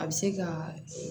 A bɛ se ka